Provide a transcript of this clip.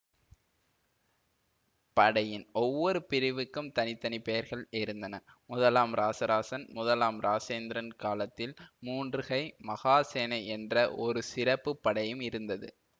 படையின் ஒவ்வொரு பிரிவுக்கும் தனித்தனிப் பெயர்கள் இருந்தன முதலாம் இராசராசன் முதலாம் இராசேந்திரன் காலத்தில் மூன்றுகை மகாசேனை என்ற ஒரு சிறப்பு படையும் இருந்தது